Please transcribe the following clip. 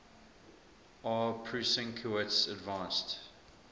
aw prusinkiewicz advanced